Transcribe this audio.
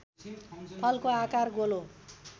फलको आकार गोलो